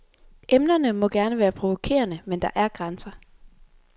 Emnerne må gerne være provokerende, men der er grænser.